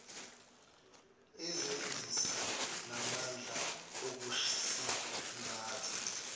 izinsiza namandla okusingatha